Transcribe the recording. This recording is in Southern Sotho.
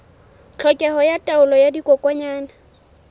tlhokeho ya taolo ya dikokwanyana